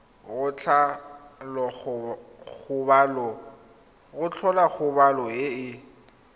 go tlhola kgobalo e e